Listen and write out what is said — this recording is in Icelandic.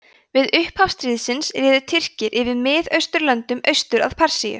við upphaf stríðsins réðu tyrkir yfir miðausturlöndum austur að persíu